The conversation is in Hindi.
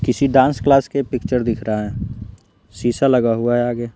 किसी डांस क्लास के पिक्चर दिख रहा है शीशा लगा हुआ है आगे।